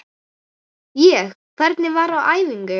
Ég: Hvernig var á æfingu?